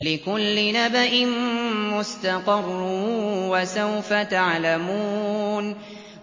لِّكُلِّ نَبَإٍ مُّسْتَقَرٌّ ۚ وَسَوْفَ تَعْلَمُونَ